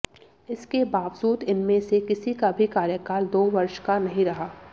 इसके बावजूद इनमें से किसी का भी कार्यकाल दो वर्ष का नहीं रहा